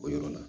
O yɔrɔ la